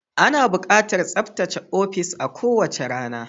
Ana buƙatar tsaftace ofis a kowace rana.